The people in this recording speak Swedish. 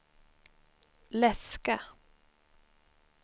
läska